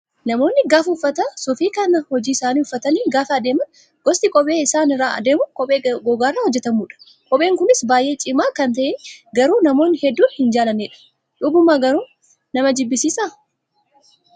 Namoonni gaafa uffata suufii kan hojii isaanii uffatanii gaafa adeeman gosti kophee isaan irraa deemuu kophee gogaarraa hojjatamudha. Kopheen kunis baay'ee cimaa kan ta'e garuu namoonni hedduun hin jaallannedha. Dhuguma garuu nama jibbisiisa.